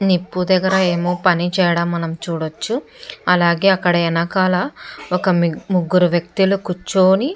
నిప్పు దగ్గర ఏమో పని చేయడం మనం చూడచ్చు అలాగే అక్కడ వెనకాల ఒక ముగ్గురు వ్యక్తులు కూర్చుని --